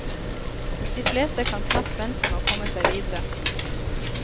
De fleste kan knapt vente med å komme seg videre.